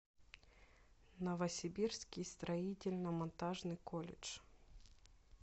новосибирский строительно монтажный колледж